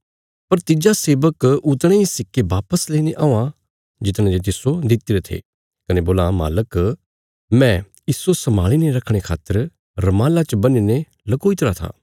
पर तिज्जा सेबक उतणे इ सिक्के वापस लेईने औआं जितने जे तिस्सो दित्तिरे थे कने बोलां मालक मैं इस्सो सम्भाल़ी ने रखणे खातर रुमाला च बन्हीने लकोईतरा था